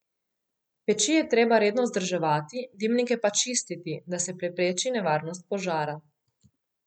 Peči je treba redno vzdrževati, dimnike pa čistiti, da se prepreči nevarnost požara.